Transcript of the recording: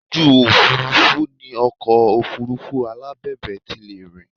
Ojú òfuurufú ni ọkọ̀ Òfurufú alábẹ̀bẹ̀ ti lè rìn